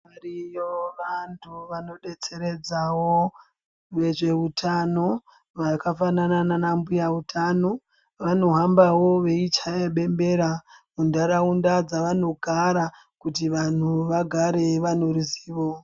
Variyo vantu vanodetseredzawo vezveutano vakafanana nana mbuya utano vanohambawo veichaya bembera muntaraunda dzavanogara kuti vanhu vagare vanoruzivo.